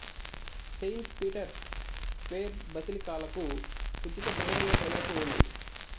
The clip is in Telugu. సెయింట్ పీటర్స్ స్క్వేర్ బసిలికాలకు ఉచిత బహిరంగ ప్రవేశం ఉంది